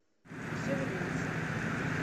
все вернется